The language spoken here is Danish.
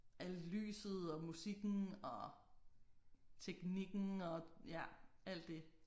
Alt lyset og musikken og teknikken og ja alt det